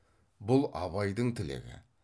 бұл абайдың тілегі